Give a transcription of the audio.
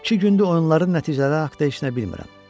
İki gündür oyunların nəticələri haqqında heç nə bilmirəm.